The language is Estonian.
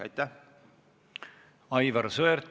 Aivar Sõerd, palun!